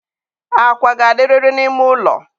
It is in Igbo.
akwa ga-adịrịrị n'ime ụlọ.